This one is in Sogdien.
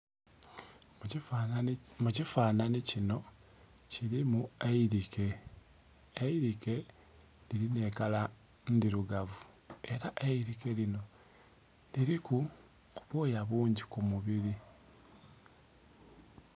Mu kifanhanhi kinho kilimu eilike, eilike lilimu ekala ndhirugavu ela eilike linho liliku obwoya bungi ku mubiri.